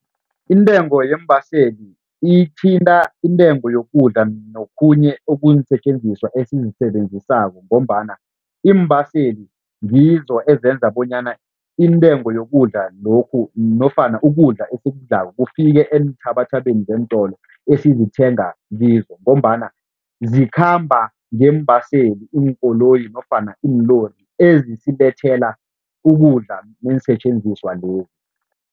Intengo yeembaseli ithinta intengo yokudla nokhunye okuyiinsetjenziswa esizisebenzisako ngombana iimbaseli ngizo ezenza bonyana intengo yokudla lokhu nofana ukudla esikudlako kufike eenthabathabeni zeentolo esizithenga kizo ngombana zikhamba ngeembaseli iinkoloyi nofana iinlori ezisilethela ukudla neensetjenziswa lezi.